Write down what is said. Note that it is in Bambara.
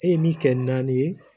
E ye min kɛ naani ye